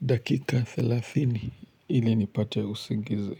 dakika thelathini ili nipate usingizi.